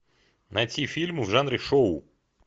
найти фильм в жанре шоу